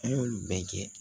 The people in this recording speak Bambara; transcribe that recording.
An y'olu bɛɛ kɛ